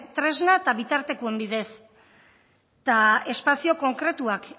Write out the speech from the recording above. tresna eta bitartekoen bidez eta espazio konkretuak